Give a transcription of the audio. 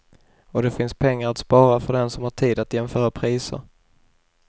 Och det finns pengar att spara för den som har tid att jämföra priser.